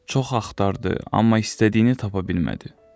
Çox axtardı, amma istədiyini tapa bilmədi.